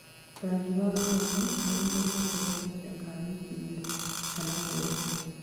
rangi wa ngothi nĩ ũcenjetie gwa kahinda ka wiki thiru kana mĩeri